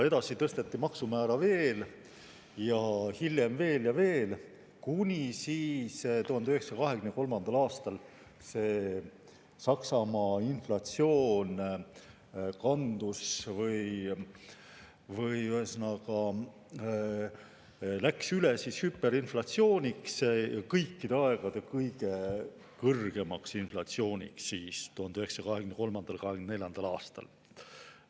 Edasi tõsteti maksumäära veel ja hiljem veel ja veel, kuni 1923. aastal Saksamaa inflatsioon läks üle hüperinflatsiooniks, kõikide aegade kõige kõrgemaks inflatsiooniks 1923. ja 1924. aastal.